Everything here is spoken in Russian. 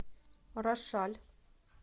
рошаль